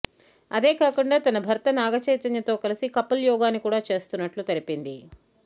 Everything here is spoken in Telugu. అదే కాకుండా తన భర్త నాగచైతన్యతో కలిసి కపుల్ యోగాని కూడా చేస్తున్నట్టు తెలిపింది